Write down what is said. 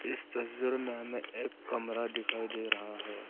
इस तस्वीर में हमें एक कमरा दिखाई दे रहा है।